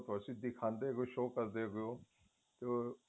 ਤੁਸੀਂ ਦਿਖਦੇ ਵੇ show ਕਰਦੇ ਹੋ